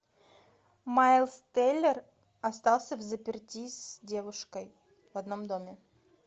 майлз теллер остался взаперти с девушкой в одном доме